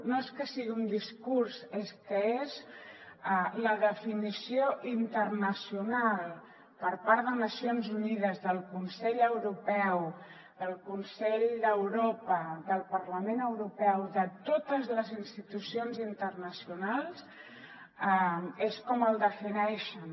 no és que sigui un discurs és que és la definició internacional per part de nacions unides del consell europeu el consell d’europa del parlament europeu de totes les institucions internacionals és com el defineixen